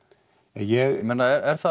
ég meina á það